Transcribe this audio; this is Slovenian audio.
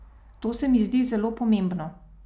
To se mi zdi zelo pomembno.